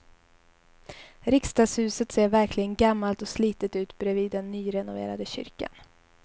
Riksdagshuset ser verkligen gammalt och slitet ut bredvid den nyrenoverade kyrkan.